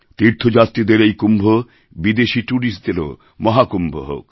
তীর্থযাত্রীদের এই কুম্ভ বিদেশী ট্যুরিস্টদেরও মহাকুম্ভ হোক